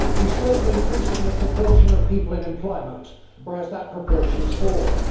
He spoke of increasing the proportion of people in employment, whereas that proportion has fallen.